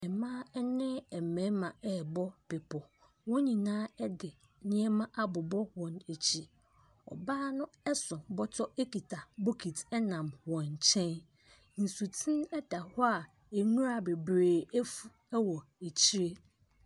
Mmea ne mmarima ɛbɔ bepo wɔn nyinaa di nneɛma abɔbɔ wɔn akyi ɔbaa no so bɔtɔ ɛna bokiti nam wɔn kyɛn nsuo teni daho nwura bebree fu wɔ akyire.